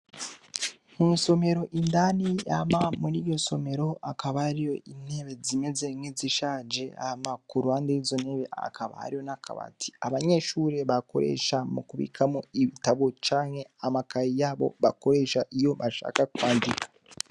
Mw'isomero indani hama mw'iryo somero hakaba hariyo intebe zimeze nkizishaje, hame kuruhande yizo ntebe hakaba hari nak'akabati abanyeshure bakoresha mukubikamwo ibitabo canke amakaye yabo bakoresha iyo bashaka kwandika.